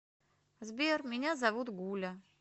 сбер меня зовут гуля